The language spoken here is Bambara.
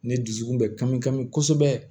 Ne dusukun bɛ kanmi kami kosɛbɛ